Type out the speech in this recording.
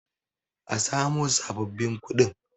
a samo sababbin kuɗin!